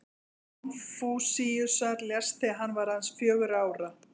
Faðir Konfúsíusar lést þegar hann var aðeins fjögurra ára.